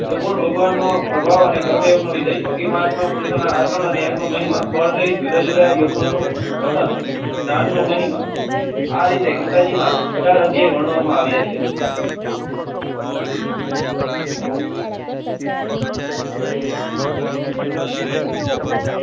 તંગ ભગવાનનો પ્રભાવ અને કર્મયોગનો વિષય યોગી મહાત્માપુરુષના આ ત્રણેયનો મહિમા જુદા જુદા યોગનું. નાનો મહિમા.